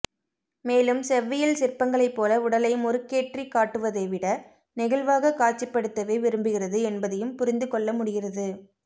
மேலும் செவ்வியல் சிற்பங்களைப் போல உடலை முறுக்கேற்றி காட்டுவதை விட நெகிழ்வாகக் காட்சிப்படுத்தவே விரும்புகிறது என்பதையும் புரிந்து கொள்ளமுடிகிறது